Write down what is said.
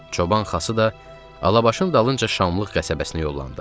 Çoban Xası da Alabaşın dalınca Şamlıq qəsəbəsinə yollandı.